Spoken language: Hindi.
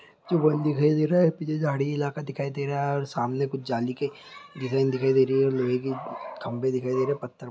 जो वन दिखाई दे रहा है पीछे झाडी इलाका दिखाई दे रहा है और सामने कुछ जाली के डिज़ाइन दिखाई दे रही है और लोहे की खंभे दिखाई दे रहे है पत्थर